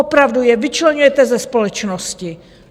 Opravdu je vyčleňujete ze společnosti.